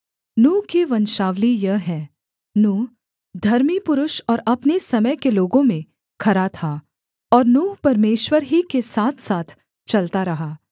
नूह की वंशावली यह है नूह धर्मी पुरुष और अपने समय के लोगों में खरा था और नूह परमेश्वर ही के साथसाथ चलता रहा